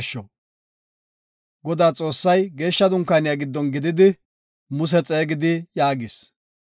Godaa Xoossay, Geeshsha Dunkaaniya giddon gididi Muse xeegidi yaagis;